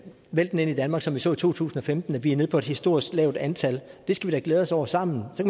væltende ind i danmark som vi så i to tusind og femten vi er nede på et historisk lavt antal og det skal vi da glæde os over sammen så